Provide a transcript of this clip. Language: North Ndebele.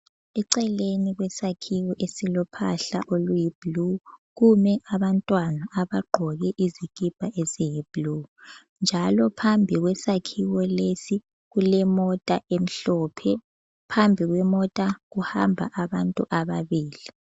Eceleni kwesakhiwo esilo phahla oluyi bhlu kumi abantwana abaqgoke izikipa eziyi bhlu njalo phambi kwesakhiwo lesi kulemota emhlophe phambi kwemota kuhamba abantu ababili.